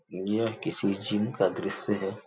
यह किसी जीम का दृश्य है।